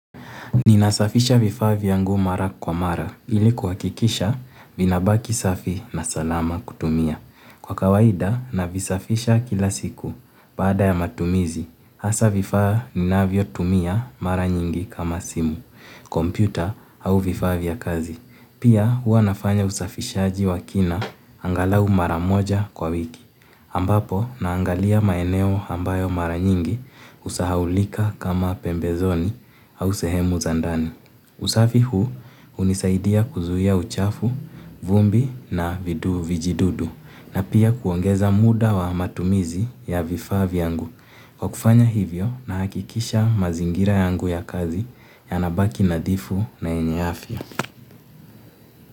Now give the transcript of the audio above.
Ninasafisha vifaa vyangu mara kwa mara ili kuhakikisha vinabaki safi na salama kutumia. Kwa kawaida navisafisha kila siku baada ya matumizi hasa vifaa ninavyotumia mara nyingi kama simu, kompyuta au vifaa vya kazi. Pia huwa nafanya usafishaji wa kina angalau mara moja kwa wiki. Ambapo naangalia maeneo ambayo mara nyingi husahaulika kama pembezoni au sehemu za ndani. Usafi huu unisaidia kuzuia uchafu, vumbi na vidu vijidudu na pia kuongeza muda wa matumizi ya vifaa vyangu. Kwa kufanya hivyo nahakikisha mazingira yangu ya kazi yanabaki nadhifu na yenye afya.